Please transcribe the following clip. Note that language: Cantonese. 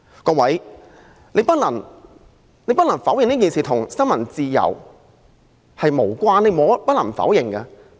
各位，我們不能否認此事與新聞自由有關。